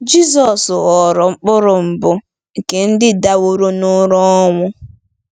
Jizọs ghọrọ “mkpụrụ mbụ nke ndị daworo n’ụra ọnwụ.”